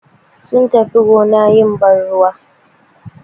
Sun tafiya gona suyi ban ruwa.